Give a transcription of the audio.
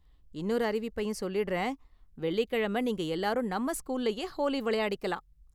இன்னொரு அறிவிப்பையும் சொல்லிடுறேன், வெள்ளிக்கிழமை நீங்க எல்லாரும் நம்ம ஸ்கூல்லயே ஹோலி விளையாடிக்கலாம்.